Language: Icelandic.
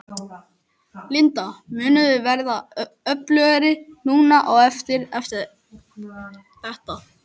Linda: Munið þið verða öflugri núna á eftir, eftir þetta?